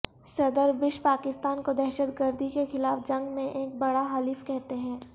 صدر بش پاکستان کو دہشت گردی کے خلاف جنگ میں ایک بڑا حلیف کہتے ہیں